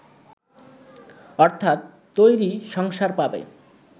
অর্থাৎ তৈরি সংসার পাবে